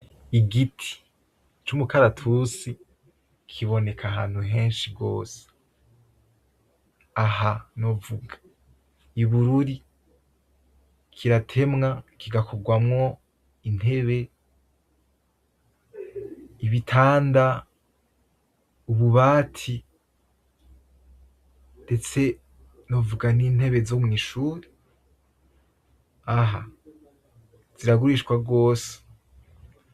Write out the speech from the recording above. Igiti c'umukaratusi kiboneka ahantuhenshi gose. Aha novuga ibururi, kiratemwa kigakorwamwo intebe; ibitanda; ububati ndetse novuga nintebe zo mwishure, aha ziragurishwa gose.